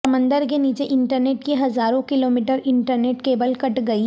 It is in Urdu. سمندر کے نیچے انٹرنیٹ کی ہزاروں کلومیٹرانٹرنیٹ کیبل کٹ گئی